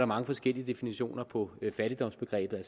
mange forskellige definitioner på fattigdomsbegrebet